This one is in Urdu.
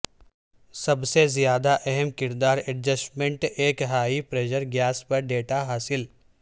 سب سے زیادہ اہم کردار ایڈجسٹمنٹ ایک ہائی پریشر گیس پر ڈیٹا حاصل